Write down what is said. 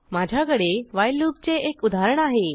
माझ्याकडे व्हाईल लूपचे एक उदाहरण आहे